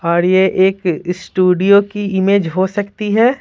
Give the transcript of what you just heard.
और ये एक स्टूडियो की इमेज हो सकती है।